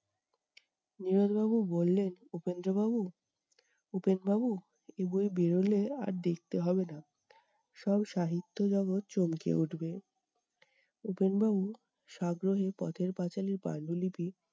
নীরদ বাবু বললেন উপেন্দ্র বাবু, উপেন বাবু এই বই বেড়োলে আর দেখতে হবে না, সব সাহিত্য জগত চমকে উঠবে । উপেন বাবু সাগ্রহে পথের পাঁচালির পাণ্ডুলিপি